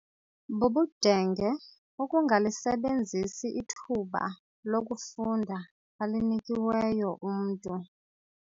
Bubudenge ukungalisebenzi ithuba lokufunda alinikiweyo umntu.